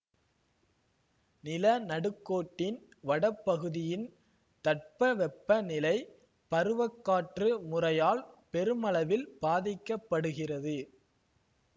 நில நடுக்கோட்டின் வடபகுதியின் தட்பவெப்ப நிலை பருவ காற்று முறையால் பெருமளவில் பாதிக்க படுகிறது